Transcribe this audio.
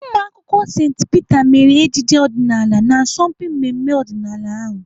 Ụmụakwụkwọ St Peter mere ejije ọdịnaala n'asọmpi mmemme ọdịnala ahụ.